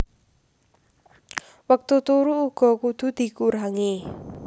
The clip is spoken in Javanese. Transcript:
Wektu turu uga kudu dikurangi